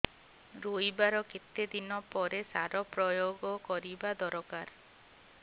ରୋଈବା ର କେତେ ଦିନ ପରେ ସାର ପ୍ରୋୟାଗ କରିବା ଦରକାର